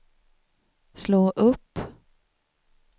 slå upp